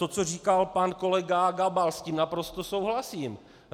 To, co říkal pan kolega Gabal, s tím naprosto souhlasím.